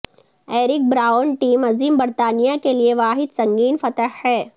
Eric Brown team عظیم برطانیہ کے لئے واحد سنگین فتح ہے